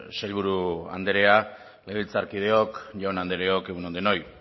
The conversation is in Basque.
sailburu andrea legebiltzarkideok jaun andreok egun on denoi